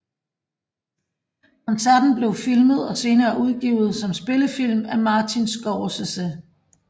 Koncerten blev filmet og senere udgivet som spillefilm af Martin Scorsese